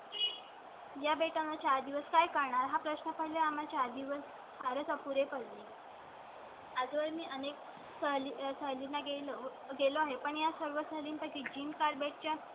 या बेटांना चार दिवस काय करणार हा प्रश्न पडला. आम्ही चार दिवस फारच अपुरे पडले . आजवर मी अनेक चाली चाली लागेल गेलो आहे. पण या सर्व साली पैकी जिम कार्बेट च्या.